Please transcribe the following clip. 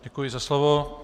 Děkuji za slovo.